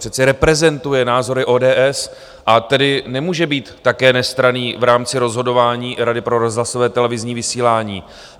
Přece reprezentuje názory ODS, a tedy nemůže být také nestranný v rámci rozhodování Rady pro rozhlasové a televizní vysílání.